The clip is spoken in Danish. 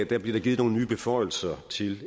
der givet nogle nye beføjelser til